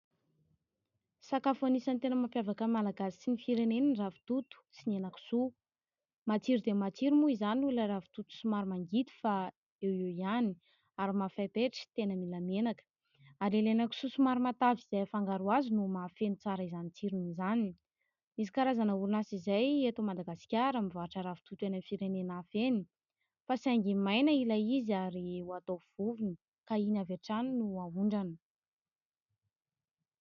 Sakafo anisan'ny tena mampiavaka ny Malagasy sy ny fireneny ny ravitoto sy ny henan-kisoa. Matsiro dia matsiro moa izany noho ilay ravitoto somary mangidy fa eo eo ihany ary mafaipaitra tena mila menaka. Ary ilay henan-kisoa somary matavy izay afangaro azy no mahafeno tsara izany tsirony izany. Misy karazana orinasa izay eto Madagasikara mivarotra ravitoto eny amin'ny firenena hafa eny fa saingy maina ilay izy ary ho atao vovony ka iny avy hatrany no ahondrana.